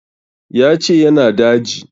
Ya ce ya na daji